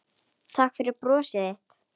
Takk fyrir brosið þitt.